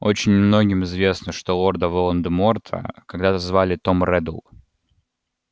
очень немногим известно что лорда волан-де-морта когда-то звали том реддл